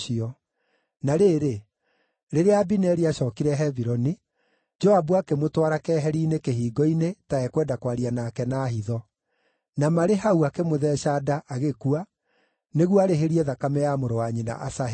Na rĩrĩ, rĩrĩa Abineri aacookire Hebironi, Joabu akĩmũtwara keheri-inĩ kĩhingo-inĩ, ta ekwenda kwaria nake na hitho. Na marĩ hau, akĩmũtheeca nda agĩkua, nĩguo arĩhĩrie thakame ya mũrũ wa nyina Asaheli.